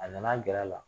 A nana gɛrɛ a la